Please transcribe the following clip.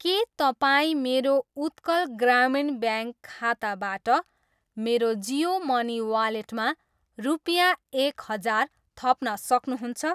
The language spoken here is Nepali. के तपाईँ मेरो उत्कल ग्रामीण ब्याङ्क खाताबाट मेरो जियो मनी वालेटमा रुपियाँ एक हजार थप्न सक्नुहुन्छ?